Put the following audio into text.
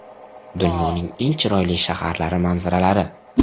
Dunyoning eng chiroyli shaharlari manzaralari.